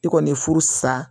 I kɔni ye furu sa